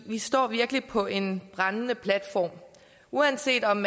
vi står virkelig på en brændende platform uanset om